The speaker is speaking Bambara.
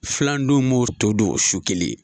Filandenw b'o to dun o su kelen.